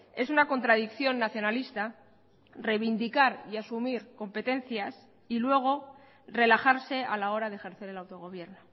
es una contradicción nacionalista reivindicar y asumir competencias y luego relajarse a la hora de ejercer el autogobierno